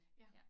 Ja